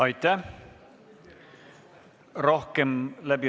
Aitäh!